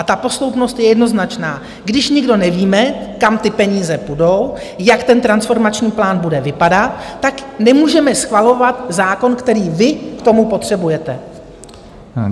A ta posloupnost je jednoznačná: když nikdo nevíme, kam ty peníze půjdou, jak ten transformační plán bude vypadat, tak nemůžeme schvalovat zákon, který vy k tomu potřebujete.